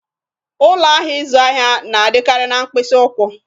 Ụlọ ahịa ịzụ ahịa na-adịkarị na mkpịsị ụkwụ